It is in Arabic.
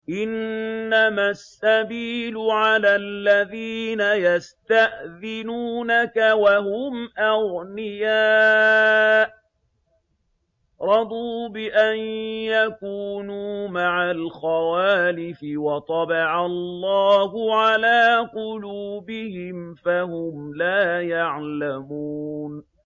۞ إِنَّمَا السَّبِيلُ عَلَى الَّذِينَ يَسْتَأْذِنُونَكَ وَهُمْ أَغْنِيَاءُ ۚ رَضُوا بِأَن يَكُونُوا مَعَ الْخَوَالِفِ وَطَبَعَ اللَّهُ عَلَىٰ قُلُوبِهِمْ فَهُمْ لَا يَعْلَمُونَ